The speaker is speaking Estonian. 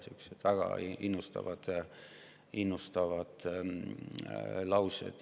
Sellised väga innustavad laused.